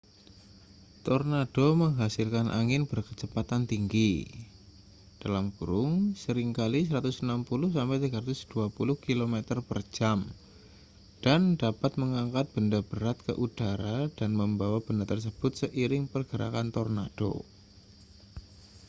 tornado menghasilkan angin berkecepatan tinggi seringkali 160-320 km/jam dan dapat mengangkat benda berat ke udara dan membawa benda tersebut seiring pergerakan tornado